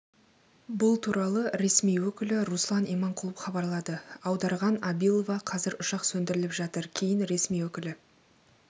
бұл туралы ресми өкілі руслан иманқұлов хабарлады аударған абилова қазір ұшақ сөндіріліп жатыр кейін ресми өкілі